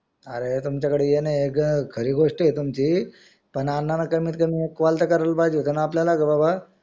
अरे पण तुमच्या कडे येणं आहे खरी गोष्ट आहे तुमची पण अण्णान कमी कमी एक call तर कार्याला पाहिजे आपल्याला का बाबा